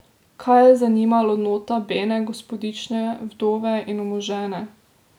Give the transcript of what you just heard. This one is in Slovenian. Kaj je zanimalo nota bene gospodične, vdove in omožene?